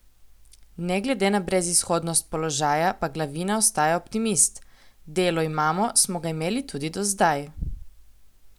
Ne glede na brezizhodnost položaja pa Glavina ostaja optimist: "Delo imamo, smo ga imeli tudi do zdaj.